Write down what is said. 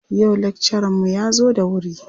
Yau lakcaranmu ya zo da wuri.